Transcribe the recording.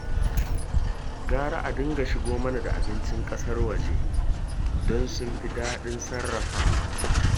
Gara a dinga shigo mana da abincin ƙasar waje, don sun fi daɗin sarrafawa